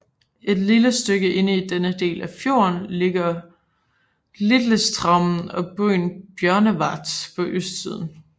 Et stykke inde i denne del af fjorden ligger Litlestraumen og byen Bjørnevatn på østsiden